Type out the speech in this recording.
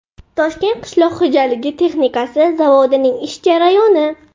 Toshkent qishloq xo‘jaligi texnikasi zavodining ish jarayoni .